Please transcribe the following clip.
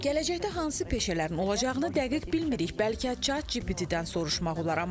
Gələcəkdə hansı peşələrin olacağını dəqiq bilmirik, bəlkə Chat GPT-dən soruşmaq olar.